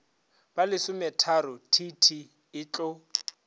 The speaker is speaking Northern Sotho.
ba lesometharo t t etlo